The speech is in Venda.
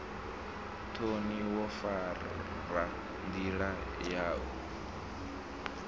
thoni wo fara ndila yau